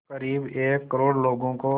क़रीब एक करोड़ लोगों को